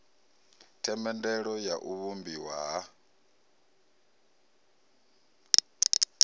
themendelo ya u vhumbiwa ha